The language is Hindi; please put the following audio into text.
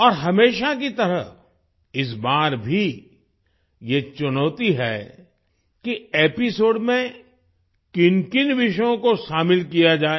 और हमेशा की तरह इस बार भी ये चुनौती है कि एपिसोड में किनकिन विषयों को शामिल किया जाए